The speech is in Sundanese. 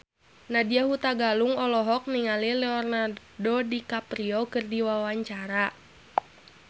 Nadya Hutagalung olohok ningali Leonardo DiCaprio keur diwawancara